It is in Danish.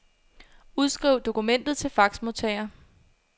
Udskriv dokumentet til faxmodtager.